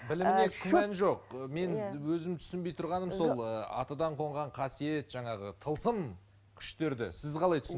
біліміне күмән жоқ ы мен өзім түсінбей тұрғаным сол ы атадан қонған қасиет жаңағы тылсым күштерді сіз қалай